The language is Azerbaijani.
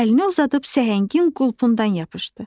Əlini uzadıb səhəngin qulpundan yapışdı.